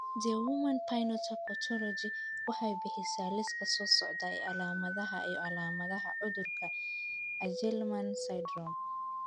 The Human Phenotype Ontology waxay bixisaa liiska soo socda ee calaamadaha iyo calaamadaha cudurka Angelman syndrome.